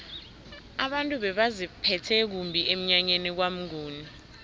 abantu bebaziphethe kumbi emnyanyeni kwamnguni